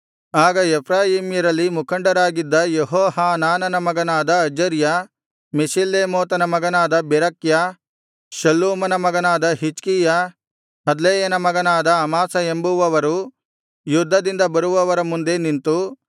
ಆಗ ಎಫ್ರಾಯೀಮ್ಯರಲ್ಲಿ ಮುಖಂಡರಾಗಿದ್ದ ಯೆಹೋಹಾನಾನನ ಮಗನಾದ ಅಜರ್ಯ ಮೆಷಿಲ್ಲೇಮೋತನ ಮಗನಾದ ಬೆರಕ್ಯ ಶಲ್ಲೂಮನ ಮಗನಾದ ಹಿಜ್ಕೀಯ ಹದ್ಲೈಯನ ಮಗನಾದ ಅಮಾಸ ಎಂಬುವವರು ಯುದ್ಧದಿಂದ ಬರುವವರ ಮುಂದೆ ನಿಂತು